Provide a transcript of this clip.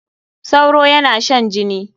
Sauro yana shan jini.